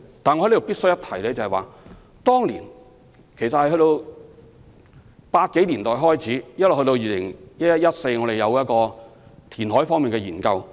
但我在此必須一提，由1980年代開始到2011年至2014年，我們也有進行填海方面的研究。